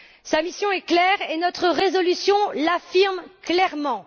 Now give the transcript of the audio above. Sa mission est claire et notre résolution l'affirme clairement.